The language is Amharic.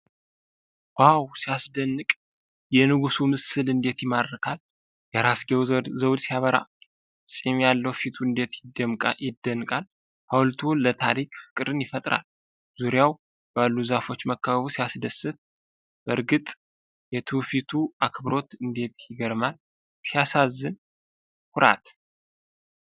ዋው ሲያስደንቅ! የንጉሡ ምስል እንዴት ይማርካል! የራስጌው ዘውድ ሲያበራ! ፂም ያለው ፊቱ እንዴት ይደነቃል! ሐውልቱ ለታሪክ ፍቅርን ይፈጥራል! ዙሪያው ባሉ ዛፎች መከበቡ ሲያስደስት! በእርግጥ የትውፊቱ አክብሮት እንዴት ይገርማል! ሲያሳዝን! ኩራት!